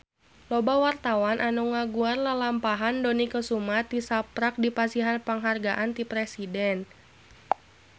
Loba wartawan anu ngaguar lalampahan Dony Kesuma tisaprak dipasihan panghargaan ti Presiden